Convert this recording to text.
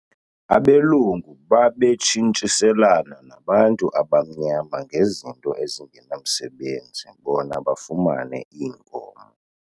Abelungu babetshintshiselana nabantu abamnyama ngezinto ezingenamsebenzi bona bafumane iinkomo.